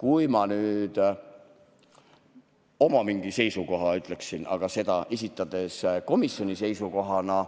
Kui ma nüüd oma seisukoha ütleksin, esitledes seda komisjoni seisukohana,